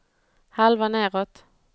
halva nedåt